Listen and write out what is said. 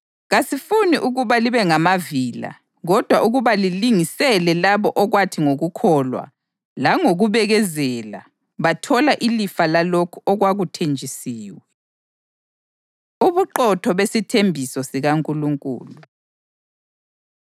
Kasifuni ukuba libe ngamavila kodwa ukuba lilingisele labo okwathi ngokukholwa langokubekezela bathola ilifa lalokhu okwakuthenjisiwe. Ubuqotho Besithembiso SikaNkulunkulu